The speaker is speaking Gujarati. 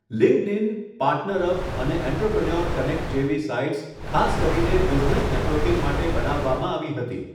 લિંક્ડઇન, પાર્ટનરઅપ અને એન્ટરપ્રેન્યોર કનેક્ટ જેવી સાઇટ્સ ખાસ કરીને બિઝનેસ નેટવર્કિંગ માટે બનાવવામાં આવી હતી.